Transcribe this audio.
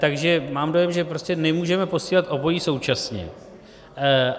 Takže mám dojem, že prostě nemůžeme posílat obojí současně.